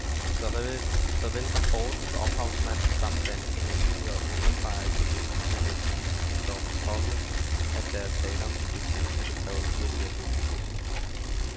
Såvel rapportens ophavsmænd samt danske myndigheder understreger i forbindelse med de kemiske stoffers påvirkning, at der er tale om en hypotese, der kræver yderligere dokumentation.